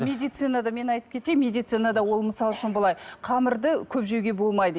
медицинада мен айтып кетейін медицинада ол мысал үшін былай қамырды көп жеуге болмайды